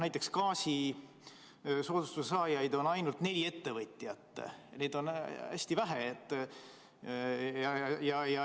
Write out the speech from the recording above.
Näiteks gaasisoodustuse saajaid on ainult neli, neid on hästi vähe.